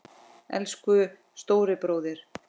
Elsku stóri bróðir.